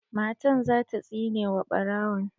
Matan za ta tsine wa ɓarawon.